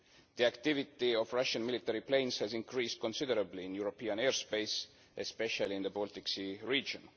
The activity of Russian military planes has increased considerably in European airspace, especially in the Baltic Sea region.